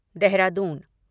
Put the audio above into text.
Dehradun